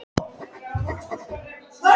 Marín, kveiktu á sjónvarpinu.